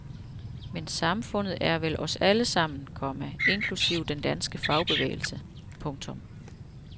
Men samfundet er vel os alle sammen, komma inklusive den danske fagbevægelse. punktum